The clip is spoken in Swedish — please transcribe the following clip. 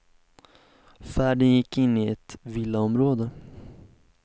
Färden gick in i ett villaområde.